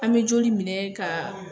An bɛ joli minɛ ka.